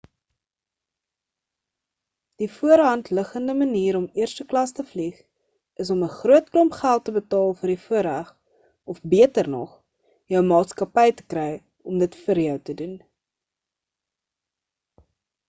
die voor die hand liggende manier om eerste klas te vlieg is om n groot klomp geld te betaal vir die voorreg of beter nog – jou maatskappy kry om dit vir jou te doen